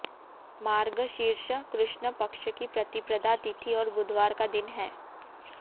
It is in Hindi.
मार्गशीर्ष कृष्ण पक्ष की प्रतिपदा तिथि और बुधवार का दिन है